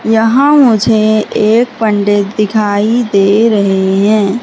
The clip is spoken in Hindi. यहां मुझे एक पंडित दिखाई दे रहे हैं।